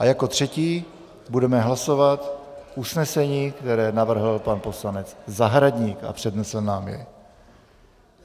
A jako třetí budeme hlasovat usnesení, které navrhl pan poslanec Zahradník a přednesl nám jej.